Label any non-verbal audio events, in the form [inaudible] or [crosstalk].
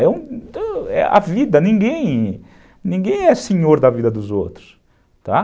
[unintelligible] a vida, ninguém, ninguém é senhor da vida dos outros, tá.